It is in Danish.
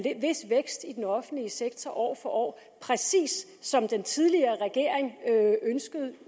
vis vækst i den offentlige sektor år for år præcis som den tidligere regering ønskede